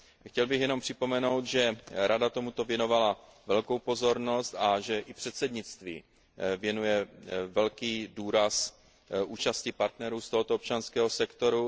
Chtěl bych jenom připomenout, že Rada tomuto věnovala velkou pozornost a že i předsednictví věnuje velký důraz účasti partnerů z tohoto občanského sektoru.